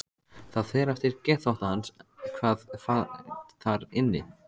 Það fer eftir geðþótta hans hvað fær þar inni.